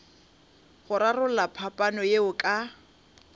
go rarolla phapano yeo ka